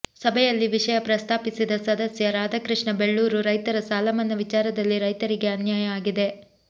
ಸಭೆಯಲ್ಲಿ ವಿಷಯ ಪ್ರಸ್ತಾಪಿಸಿದ ಸದಸ್ಯ ರಾಧಾಕೃಷ್ಣ ಬೊಳ್ಳೂರು ರೈತರ ಸಾಲಮನ್ನಾ ವಿಚಾರದಲ್ಲಿ ರೈತರಿಗೆ ಅನ್ಯಾಯ ಆಗಿದೆ